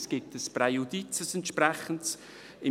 Es gibt ein entsprechendes Präjudiz: